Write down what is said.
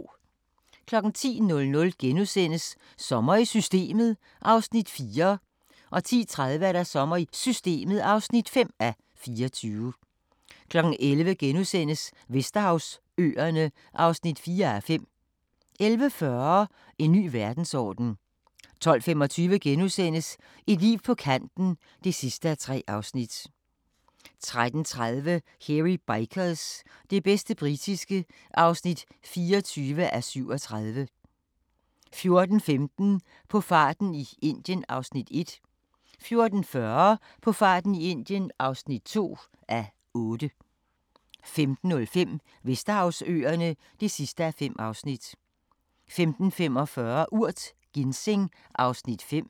10:00: Sommer i Systemet (4:24)* 10:30: Sommer i Systemet (5:24) 11:00: Vesterhavsøerne (4:5)* 11:40: En ny verdensorden 12:45: Et liv på kanten (3:3)* 13:30: Hairy Bikers – det bedste britiske (24:37) 14:15: På farten i Indien (1:8) 14:40: På farten i Indien (2:8) 15:05: Vesterhavsøerne (5:5) 15:45: Urt: Ginseng (Afs. 5)